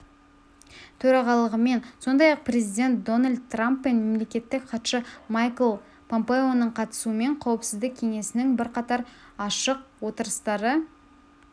төрағалығымен сондай-ақ президент дональд трамп пен мемлекеттік хатшы майкл помпеоның қатысуымен қауіпсіздік кеңесінің бірқатар ашық отырыстары